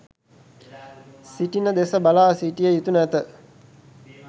සිටින දෙස බලා සිටිය යුතු නැත.